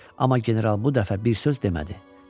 Amma general bu dəfə bir söz demədi.